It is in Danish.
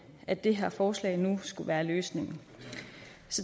at det her forslag nu skulle være løsningen